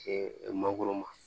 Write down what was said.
mangoro ma